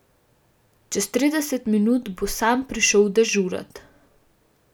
Čez trideset minut bo Sam prišel dežurat.